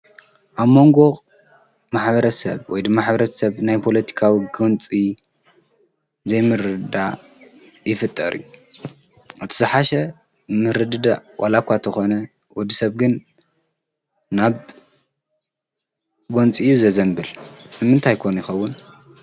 ኣብ መንጎቕ ማሓበረት ሰብ ወይዲ ማኅብረት ሰብ ናይ ጶሎቲካዊ ገንፂ ዘይምርዳ ይፍጠርእዩ ኣቲስሓሽ ምርድዳ ዋላኳ ተኾነ ወዲ ሰብግን ናብ ጐንፂ ዘዘንብል ንምንታይኮኑ ይኸውን